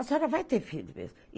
A senhora vai ter filho mesmo.